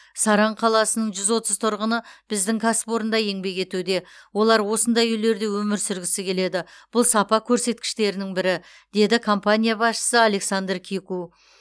саран қаласының жүз отыз тұрғыны біздің кәсіпорында еңбек етуде олар осындай үйлерде өмір сүргісі келеді бұл сапа көрсеткіштерінің бірі деді компания басшысы александр кику